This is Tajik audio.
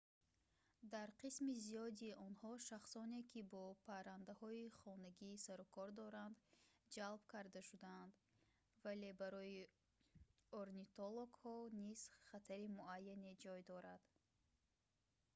дар қисми зиёди онҳо шахсоне ки бо паррандаҳои хонагӣ сарукор доранд ҷалб карда шудаанд вале барои орнитологҳо низ хатари муайяне ҷой дорад